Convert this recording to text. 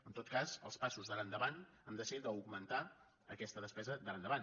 en tot cas els passos d’ara endavant han de ser d’augmentar aquesta despesa d’ara endavant